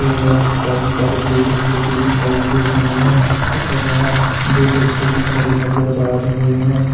यहां पे काफी सारे पेड़ भी लगे दिखाई दे रहे है तथा यहां दो बच्चे भी खड़े नजर आ रहे है।